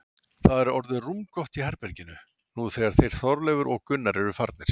Það er orðið rúmgott í herberginu, nú þegar þeir Þorleifur og Gunnar eru farnir.